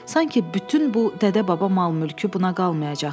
Sanki bütün bu dədə-baba mal-mülkü buna qalmayacaqdı.